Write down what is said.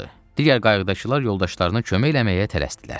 Digər qayıqdakılar yoldaşlarına kömək eləməyə tələsdilər.